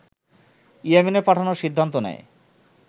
ইয়েমেনে পাঠানোর সিদ্ধান্ত নেয়